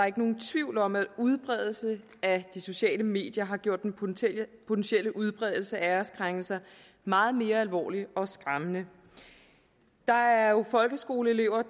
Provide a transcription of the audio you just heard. ikke nogen tvivl om at udbredelse af de sociale medier har gjort den potentielle potentielle udbredelse af æreskrænkelser meget mere alvorlig og skræmmende der er jo folkeskoleelever